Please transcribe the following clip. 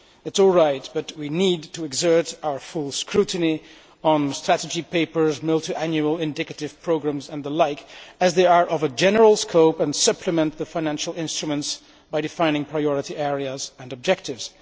This is all right, but we need to exert our full scrutiny on strategy papers, multiannual indicative programmes and the like, as they are of a general scope and supplement the financial instruments by defining priority areas and objectives.